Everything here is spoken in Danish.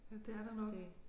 Ja det er der nok